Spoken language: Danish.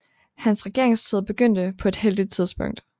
Hans regeringstid begyndte på et heldigt tidspunkt